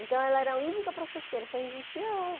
Então, ela era a única professora, só existia ela.